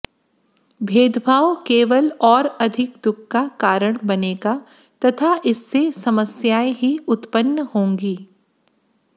भेदभाव केवल और अधिक दुख का कारण बनेगा तथा इससे समस्याएं ही उत्पन्न होंगी